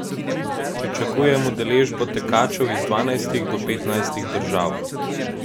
Pričakujem udeležbo tekačev iz dvanajstih do petnajstih držav.